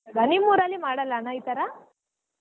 ನಿಮ್ ಊರಲ್ಲಿ ಮಾಡಲ್ಲಾ ಅಣ್ಣಾ ಈ ತರಾ?